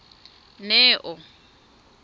neo